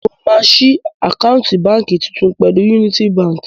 Mo máa ṣí àkáǹtì báǹkì tuntun pẹ̀lú Yúnítí baǹkì.